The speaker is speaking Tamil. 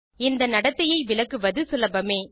இந்த நடத்தையை விளக்குவது சுலபமே